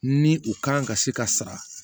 Ni u kan ka se ka sara